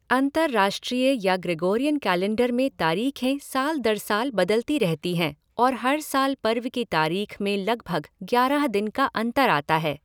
अंतरराष्ट्रीय या Gregorian calendar में तारीखें साल दर साल बदलती रहती हैं और हर साल पर्व की तारीख में लगभग ग्यारह दिन का अंतर आता है।